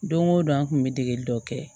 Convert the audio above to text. Don o don an kun bɛ degeli dɔ kɛ